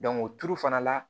o tuuru fana la